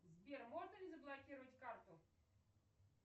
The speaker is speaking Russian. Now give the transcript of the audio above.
сбер можно ли заблокировать карту